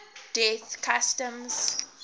death customs